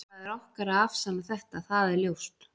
Það er okkar að afsanna þetta, það er ljóst.